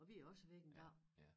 Og vi er jo også væk engang